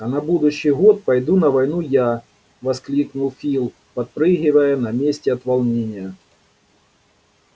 а на будущий год пойду на войну я воскликнул фил подпрыгивая на месте от волнения